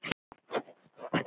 Hún sá ekkert nema hann!